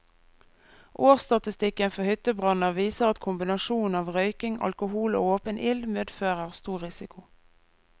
Årsstatistikken for hyttebranner viser at kombinasjonen av røyking, alkohol og åpen ild medfører stor risiko.